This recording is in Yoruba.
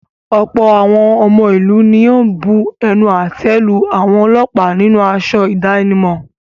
Ọ̀pọ̀ àwọn ọmọ ìlú ni ó bu ẹnu àtẹ́ lu àwọn ọlọ́pàá nínú aṣọ ìdánimọ̀.